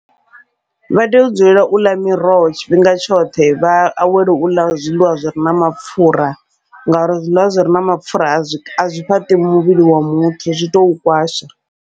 Vha tea u dzulela uḽa miroho tshifhinga tshoṱhe vha awele uḽa zwiḽiwa zwire na mapfhura, ngauri zwiḽiwa zwire na mapfhura a zwi a zwi fhaṱi muvhili wa muthu zwi tou kwasha.